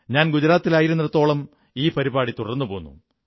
ഞാൻ ഗുജറാത്തിലായിരുന്നിടത്തോളം ഈ പരിപാടി തുടർന്നുപോന്നു